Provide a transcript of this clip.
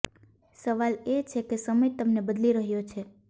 સવાલ એ છે કે સમય તમને બદલી રહ્યો છે